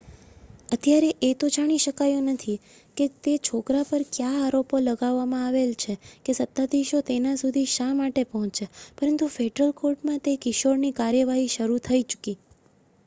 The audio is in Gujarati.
અત્યારે એ તો જાણી શકાયું નથી કે તે છોકરા પર કયા આરોપો લગાવવામાં આવેલ છે કે સત્તાધીશો તેના સુધી શા માટે પહોંચ્યા પરંતુ ફેડરલ કોર્ટમાં તે કિશોરની કાર્યવાહી શરુ થઈ ચુકી